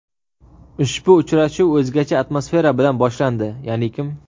Ushbu uchrashuv o‘zgacha atmosfera bilan boshlandi, yaʼnikim.